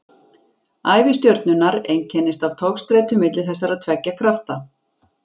Ævi stjörnunnar einkennist af togstreitu milli þessara tveggja krafta.